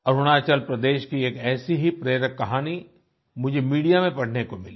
अरुणाचल प्रदेश की एक ऐसी ही प्रेरक कहानी मुझे मीडिया में पढ़ने को मिली